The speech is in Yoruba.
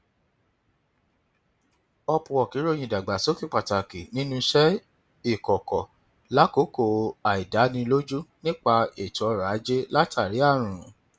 upwork ròyìn ìdàgbàsókè pàtàkì nínú iṣẹ ìkọkọ lákòókò àìdánilójú nípa ètò ọrọ ajé látàrí àrùn